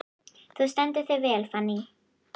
Þú stendur þig vel, Fanný!